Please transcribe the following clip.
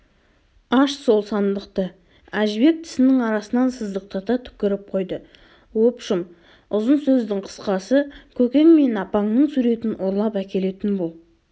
аш сол сандықты әжібек тісінің арасынан сыздықтата түкіріп қойды обшым ұзын сөздің қысқасы көкең мен апаңның суретін ұрлап әкелетін бол